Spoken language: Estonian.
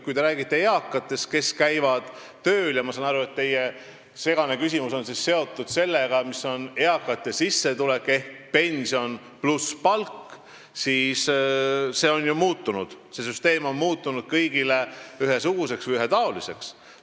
Kui te räägite eakatest, kes käivad tööl – ma saan aru, et teie segane küsimus on seotud sellega, mis on eakate sissetulek ehk pension pluss palk –, siis see süsteem on ju muutunud kõigile ühesuguseks, ühetaoliseks.